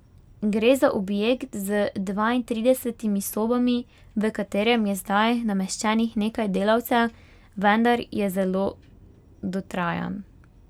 Gre za objekt z dvaintridesetimi sobami, v katerem je zdaj nameščenih nekaj delavcev, vendar je zelo dotrajan.